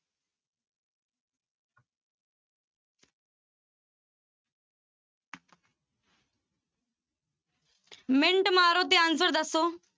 Minute ਮਾਰੋ ਤੇ answer ਦੱਸੋ।